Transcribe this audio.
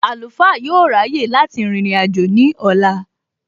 Àlùfáà yóò ráyè láti rìnrìn àjò ní ọ̀la